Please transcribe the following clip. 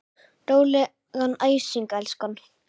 Rólegan æsing, elskan.